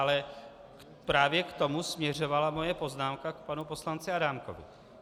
Ale právě k tomu směřovala moje poznámka k panu poslanci Adámkovi.